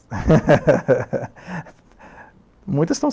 Muitas estão saindo de lá, mas tem coisas boas.